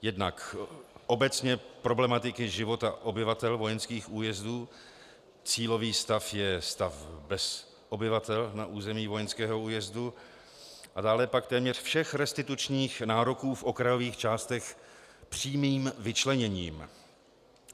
Jednak obecně problematiky života obyvatel vojenských újezdů, cílový stav je stav bez obyvatel na území vojenského újezdu, a dále pak téměř všech restitučních nároků v okrajových částech přímým vyčleněním.